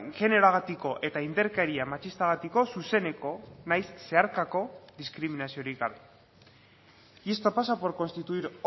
generoagatiko eta indarkeria matxistagatiko zuzeneko nahiz zeharkako diskriminaziorik gabe y esto pasa por constituir